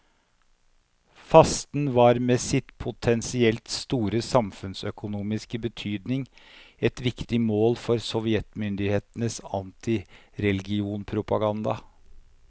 Fasten var med sin potensielt store samfunnsøkonomiske betydning et viktig mål for sovjetmyndighetenes antireligionspropaganda.